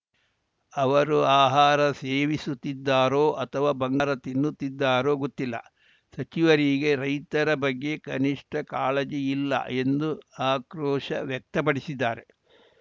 ಅವರು ಆಹಾರ ಸೇವಿಸುತ್ತಿದ್ದಾರೊ ಅಥವಾ ಬಂಗಾರ ತಿನ್ನುತ್ತಿದ್ದಾರೊ ಗೊತ್ತಿಲ್ಲ ಸಚಿವರಿಗೆ ರೈತರ ಬಗ್ಗೆ ಕನಿಷ್ಠ ಕಾಳಜಿ ಇಲ್ಲ ಎಂದು ಆಕ್ರೋಶ ವ್ಯಕ್ತಪಡಿಸಿದ್ದಾರೆ